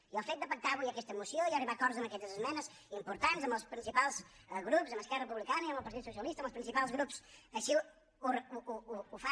i el fet de pactar avui aquesta moció i arribar a acords amb aquestes esmenes importants amb els principals grups amb esquerra republicana i amb el partit socialista amb els principals grups així ho fa